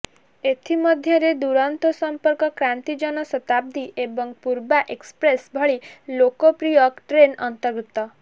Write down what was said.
ଏଥିମଧ୍ୟରେ ଦୂରନ୍ତୋ ସଂପର୍କ କ୍ରାନ୍ତି ଜନ ଶତାବ୍ଦି ଏବଂ ପୂର୍ବା ଏକ୍ସପ୍ରେସ ଭଳି ଲୋକପ୍ରିୟ ଟ୍ରେନ୍ ଅନ୍ତର୍ଭୁକ୍ତ